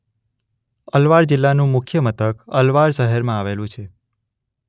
અલવાર જિલ્લાનું મુખ્ય મથક અલવાર શહેરમાં આવેલું છે.